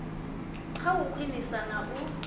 kha u khwinisa na u